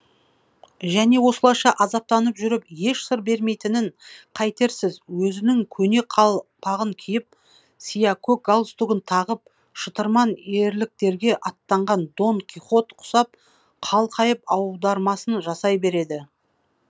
және осылайша азаптанып жүріп еш сыр бермейтінін қайтерсіз өзінің көне қалпағын киіп сиякөк галстугын тағып шытырман ерліктерге аттанған дон кихот құсап қалқайып аудармасын жасай береді